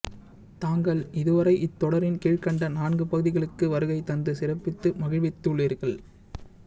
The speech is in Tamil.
தாங்கள் இதுவரை இந்தத்தொடரின் கீழ்க்கண்ட நான்கு பகுதிகளுக்கு வருகை தந்து சிறப்பித்து மகிழ்வித்துள்ளீர்கள்